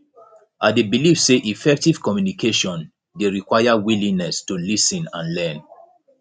i dey believe say effective communication dey require willingness to lis ten and learn